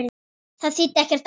Það þýddi ekkert annað.